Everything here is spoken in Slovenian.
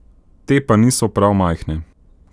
Te pa niso prav majhne.